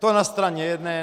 To na straně jedné.